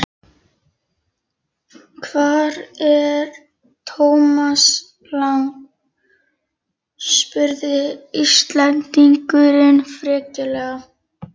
Hvar er Thomas Lang? spurði Íslendingurinn frekjulega.